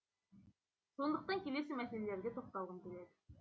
сондықтан келесі мәселелерге тоқталғым келеді